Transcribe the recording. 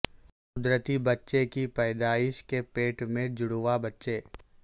قدرتی بچے کی پیدائش کے پیٹ میں جڑواں بچے